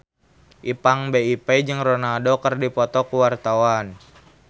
Ipank BIP jeung Ronaldo keur dipoto ku wartawan